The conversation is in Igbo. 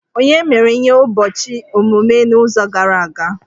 Onye mere ihe ụbọchị ọmụmụ n'izu gara aga!?